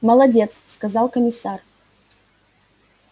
молодец сказал комиссар